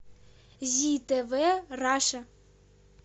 зи тв раша